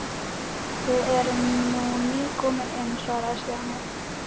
Við erum nú nýkomin inn svaraði Stjáni.